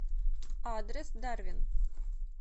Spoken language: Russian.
адрес дарвин